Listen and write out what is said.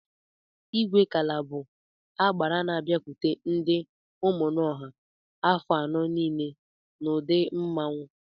Igwekala bụ agbara n'abiakwute ndị Ụmụnọha afọ anọ niile n'ụdị mmanwụ.